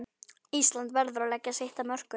Ísland verður að leggja sitt af mörkum